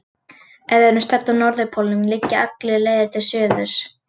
Ef við erum stödd á norðurpólnum liggja allar leiðir til suðurs.